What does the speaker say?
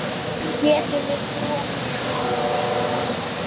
Er þetta frá Hugrúnu komið?